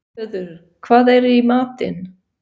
Hlöður, hvað er í matinn?